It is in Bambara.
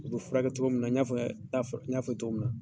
U bi furakɛ cogo min na, n y'a n y'a fɔ cogo min na.